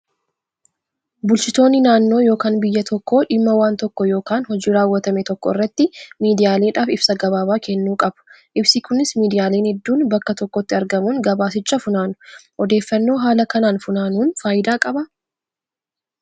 Bulchitoonni naannoo yookaan biyya tokkoo dhimma waan tokkoo yookaan hojii raawwatame tokko irratti miidiyaaleedhaaf ibsa gabaabaa kennuu qabu. Ibsi kunis miidiyaaleen hedduun bakka tokkotti argamuun gabaasicha funaanu. Odeeffannoo haala kanaan funaanuun fayidaa qabaa?